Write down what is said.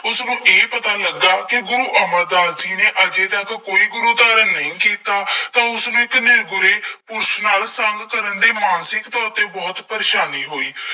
ਉਸਨੂੰ ਇਹ ਪਤਾ ਲੱਗਾ ਕਿ ਗੁਰੂ ਅਮਰਦਾਸ ਜੀ ਨੇ ਅਜੇ ਤੱਕ ਕੋਈ ਗੁਰੂ ਧਾਰਨ ਨਹੀਂ ਕੀਤਾ, ਤਾਂ ਉਸਨੇ ਕਿੰਨੇ ਬੁਰੇ ਪੁੱਛ ਨਾਲ ਸੰਗ ਕਰਨ ਦੇ ਮਾਨਸਿਕਤਾ ਉੱਤੇ ਬਹੁਤ ਪਰੇਸ਼ਾਨੀ ਹੋਈ।